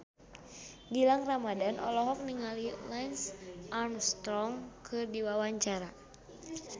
Gilang Ramadan olohok ningali Lance Armstrong keur diwawancara